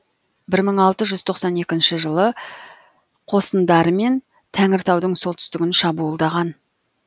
бір мың алты жүз тоқсан екінші жылы қосындарымен тәңіртаудың солтүстігін шабуылдаған